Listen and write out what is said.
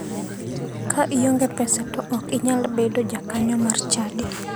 Ka ionge pesa to ok inyal bedo ja kanyo mar chadi .